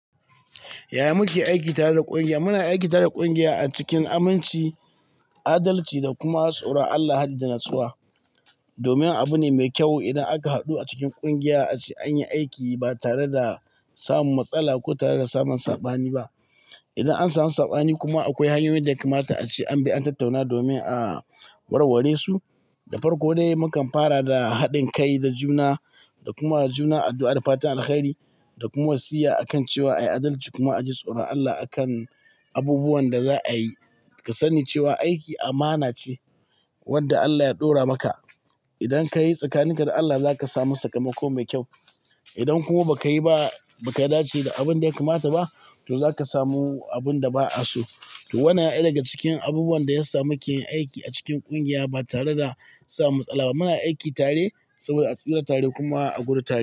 Yaya muke aiki tare da ƙungiya? Muna aiki tare da ƙungiya a cikin aminci, adalci da kuma tsoron Allah hadda natsuwa. Domin abu ne mai kyau idan aka haɗu a cikin ƙungiya ace anyi aiki ba tare da samun matsala ko tare da samun sabani ba. Idan an samu sabani kuma akwai hanyoyin da yaka mata ace an bi an tattauna domin a warware su. Da farko dai mukan fara da haɗin kai da juna da kuma juna addu'a da fatan alkhairi da kuma siya akan cewa ayi adalci kuma a ji tsoron Allah akan abubuwan da za a yi. Ka sani cewa aiki amana ce wanda Allah ya ɗora maka. Idan kayi tsakaninka da Allah za ka samu sakamako mai kyau. Idan kuma ba ka yi ba, ba ka dace da abin da ya kamata ba to za ka samu abun da ba a so. To wa nan yana daya daga cikin abubuwan da ya sa muke yin aiki a cikin ƙungiya ba tare da sa matsala. Muna aiki tare saboda a tsira tare kuma a gudu tare.